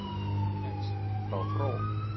Kex frá Frón